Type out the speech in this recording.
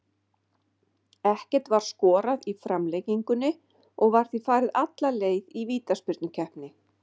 Ekkert var skorað í framlengingunni og var því farið alla leið í vítaspyrnukeppni.